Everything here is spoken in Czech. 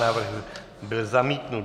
Návrh byl zamítnut.